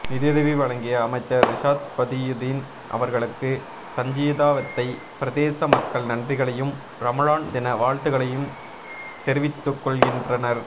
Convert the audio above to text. நிதியுதவி வழங்கிய அமைச்சர் ரிஷாத் பதியுதீன் அவர்களுக்கு சஞ்சீதாவத்தை பிரதேச மக்கள் நன்றிகளையும் ரமழான் தின வாழ்த்துக்களைம் தெரிவித்துகொள்கின்றனர்